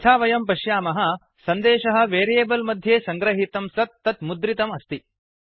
यथा वयं पश्यामः सन्देशः वेरियेबल् मध्ये सङ्गृहीतं सत् तत् मुद्रितम् अस्ति